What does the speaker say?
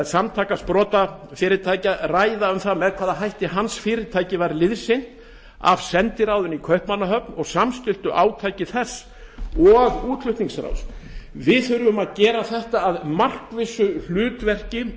samtaka sprotafyrirtækja ræða um það með hvaða hætti fyrirtæki hans var liðsinnt af sendiráðinu í kaupmannahöfn og samstilltu átaki þess og útflutningsráðs við þurfum að gera þetta að markvissu hlutverki